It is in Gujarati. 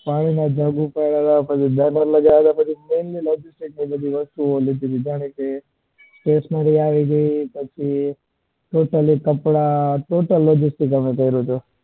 પાણી ના jug ઉપાડ્યા હતા પછી lader લાગ્યા હતા પછી stationary આવી ગઈ પછી totaly કપડા બધું logistic અમે કર્યું હતું.